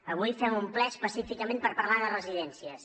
avui fem un ple específicament per parlar de residències